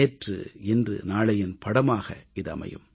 நேற்று இன்று நாளையின் படமாக இது அமையும்